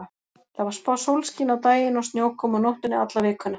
Það var spáð sólskini á daginn og snjókomu á nóttunni alla vikuna.